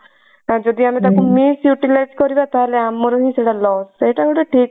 ଯଦି ଆମେ ତାକୁ misutilise କରିବା ତା ହେଲେ ଆମର ହିଁ ସେଟା loss ସେଇଟା ଗୋଟେ ଠିକ